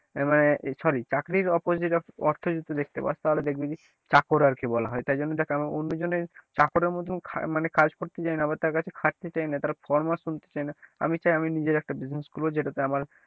আহ sorry চাকরীর opposite অর্থ যদি দেখতে পাস তাহলে দেখবি চাকর আর কি বলা হয় তাই জন্য দেখ কেন অন্যজনের চাকরের মত মানে কাজ করতে চায়না বা তার কাছে খাটতে চায় না তার ফরমাস শুনতে চায় না আমি চাই আমি নিজের একটা business খুলবো যেটাতে আমার,